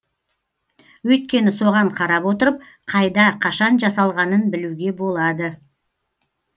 өйткені соған қарап отырып қайда қашан жасалғанын білуге болады